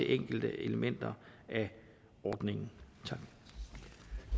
enkelte elementer i ordningen